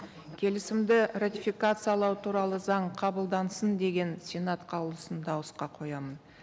келісімді ратификациялау туралы заң қабылдансын деген сенат қаулысын дауысқа қоямын